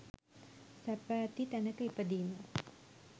සැප ඇති තැනක ඉපදීම